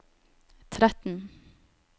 tretten